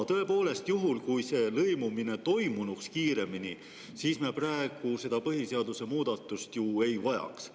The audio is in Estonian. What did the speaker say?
Tõepoolest, juhul kui see lõimumine toimunuks kiiremini, me praegu seda põhiseaduse muudatust ju ei vajaks.